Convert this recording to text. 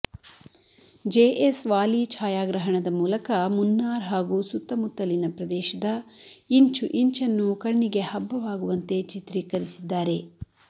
J S Wali ಛಾಯಾಗ್ರಹಣದ ಮೂಲಕ ಮುನ್ನಾರ್ ಹಾಗೂ ಸುತ್ತಮುತ್ತಲಿನ ಪ್ರದೇಶದ ಇಂಚುಇಂಚನ್ನೂ ಕಣ್ಣಿಗೆ ಹಬ್ಬವಾಗುವಂತೆ ಚಿತ್ರೀಕರಿಸಿದ್ದಾರೆ